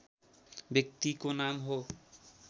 व्यक्तिको नाम हो